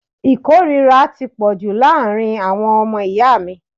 Ìkórìíra ti pọ̀jù láàárín àwọn ọmọ ìyá mi.